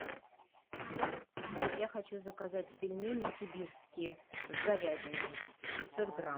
я хочу заказать пельмени сибирские с говядиной пятьсот грамм